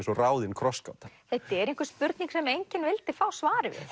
og ráðin krossgáta þetta er einhver spurning sem enginn vildi fá svarið við